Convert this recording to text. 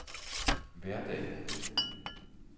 hverdag